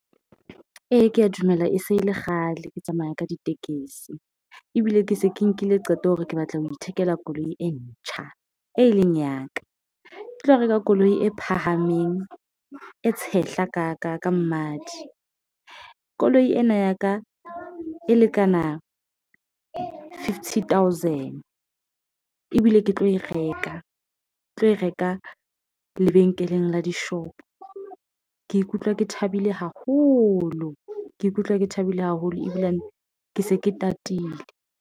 Ee, ke ya dumela, e se e le kgale ke tsamaya ka ditekesi ebile ke se ke nkile qeto hore ke batla ho ithekela koloi e ntjha, e leng ya ka ke tlo reka koloi e phahameng e tshehla ka mmadi. Koloi ena ya ka e lekana fifty thousand ebile ke tlo e reka, ke tlo e reka lebenkeleng la dishop. Ke ikutlwa ke thabile haholo, ke ikutlwa ke thabile haholo ebile ke se ke tatile.